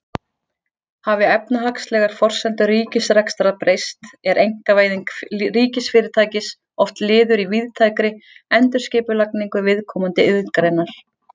Hafi efnahagslegar forsendur ríkisrekstrar breyst er einkavæðing ríkisfyrirtækis oft liður í víðtækri endurskipulagningu viðkomandi iðngreinar.